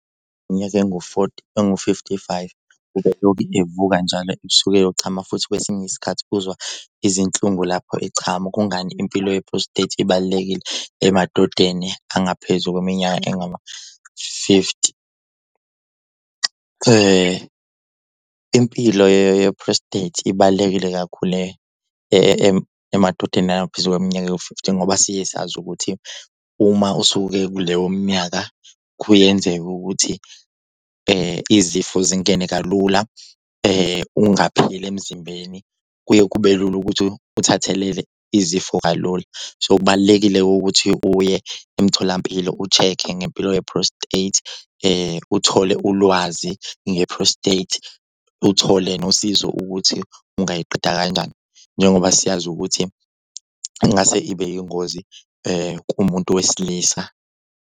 Iminyaka engu-forty engu-fifty-five ubelokhu evuka njalo ebsuku eyochama, futhi kwesinye isikhathi uzwa izinhlungu lapho echama. Kungani impilo ye-prostate ibalulekile emadodeni angaphezu kweminyaka engama-fifty? Impilo ye-prostate ibalulekile kakhulu emadodeni engaphezu kweminyaka ewu-fifty ngoba siye sazi ukuthi uma usuke kuleyo minyaka kuyenzeka ukuthi izifo zingene kalula ungaphili emzimbeni kuye kube lula ukuthi uthathelele izifo kalula. So kubalulekile-ke ukuthi uye emtholampilo u-check-e ngempilo ye-prostate. Uthole ulwazi nge-prostate uthole nosizo ukuthi ungayiqeda kanjani njengoba siyazi ukuthi ingase ibe yingozi kumuntu wesilisa.